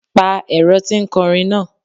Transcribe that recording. Pa ẹ̀rọ ti ń kọrin náà!